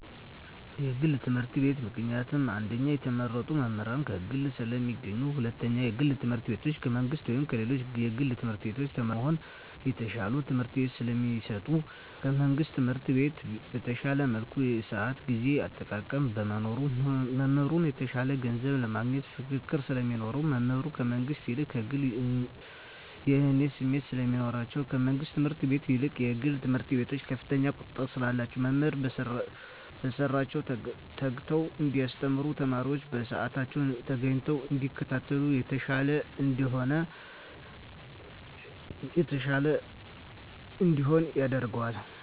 የግል ትምህርት ቤት። ምክንያቱም አንደኛ የተመረጡ መምህራን ከግል ስለሚገኙ ሁለተኛ የግል ትምህርት ቤቱ ከመንግስት ወይም ከሌሎች የግል ትምህርት ቤቶች ተመራጭ ለመሆን የተሻለ ትምህርት ስለሚሰጡ። ከመንግስት ትምህርት ቤት በተሻለ መልኩ የስአት የጊዜ አጠቃቀም በመኖሩ። መምህራን የተሻለ ገንዘብ ለማግኘት ፉክክር ስለሚኖር። መምህራን ከመንግስት ይልቅ ከግሉ የእኔነት ስሜት ስለሚኖራቸዉ። ከመንግስት ትምህርት ቤት ይልቅ የግል ትምህርት ቤት ከፍተኛ ቁጥጥር ስላለ መምህራን በስራቸዉ ተግተዉ እንዲያስተምሩ ተማሪወችም በስአታቸዉ ተገኝተዉ እንዲከታተሉ የተሻለ እንዲሆን ያደርጋል።